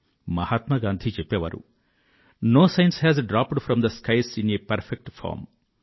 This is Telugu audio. మహాత్మా గాంధీ చెప్పే వారు no science has dropped from the skies in a perfect form